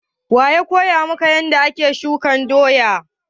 Wa ya koya maka yanda ake shuka doya?